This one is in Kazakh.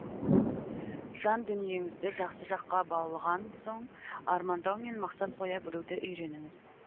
жан дүниеңізді жақсы жаққа баулыған соң армандау мен мақсат қоя білуді үйреніңіз